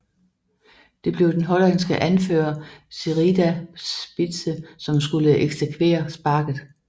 Det blev den hollandske anfører Sherida Spitse som skulle eksekvere sparket